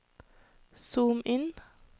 zoom inn